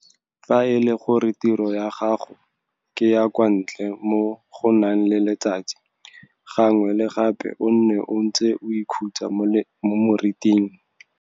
Fa e le gore tiro ya gago ke ya kwa ntle mo go nang le letsatsi, gangwe le gape o nne o ntse o ikhutsa mo meriting.